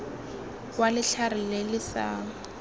wa letlhare le le sa